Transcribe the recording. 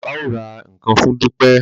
Bàbá o rà nkán fún Dupe.